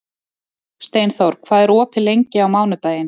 Steinþór, hvað er opið lengi á mánudaginn?